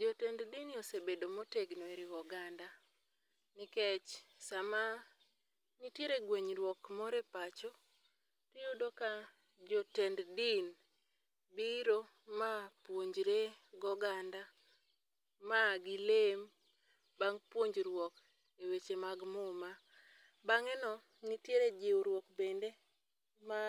Jotend didni osebedo motegno e riwo oganda, nikech sama nitiere gwenyruok moro e pacho, to iyudo ka jotend din biro ma puonjore gi oganda, ma gilem, bang' puonjuor e weche mag muma. Bange no nitiere jiwruok bende ma